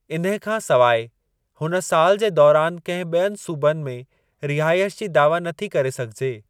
इन्हे खां सवाइ, हुन साल जे दौरनि कंहिं ॿियनि सूबनि में रिहाइश जी दावा नथी करे सघिजे।